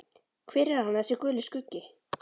Hver er hann, þessi Guli skuggi?